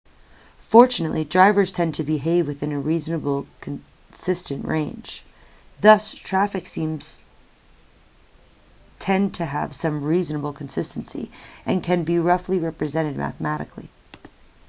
fortunately drivers tend to behave within a reasonably consistent range thus traffic streams tend to have some reasonable consistency and can be roughly represented mathematically